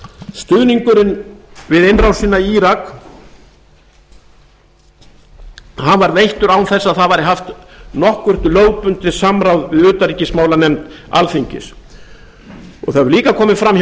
stuðningurinn við innrásina í írak var veittur án þess að það væri haft nokkurt lögbundið samráð við utanríkismálanefnd alþingis það hefur líka komið fram hjá